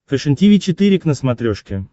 фэшен тиви четыре к на смотрешке